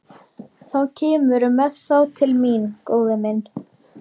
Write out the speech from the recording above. Þá kemurðu með þá til mín, góði minn.